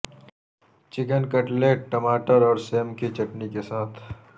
chicken cutlet ٹماٹر اور سیم کی چٹنی کے ساتھ